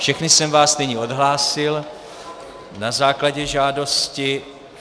Všechny jsem vás nyní odhlásil na základě žádosti.